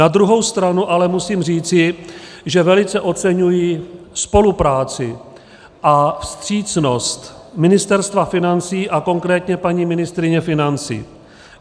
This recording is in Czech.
Na druhou stranu ale musím říci, že velice oceňuji spolupráci a vstřícnost Ministerstva financí a konkrétně paní ministryně financí.